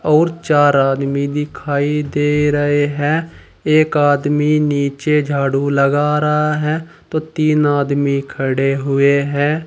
और चार आदमी दिखाई दे रहे हैं एक आदमी नीचे झाड़ू लगा रहा है तो तीन आदमी खड़े हुए हैं।